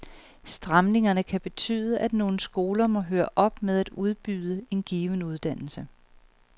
Stramningerne kan betyde, at nogle skoler må høre op med at udbyde en given uddannelse.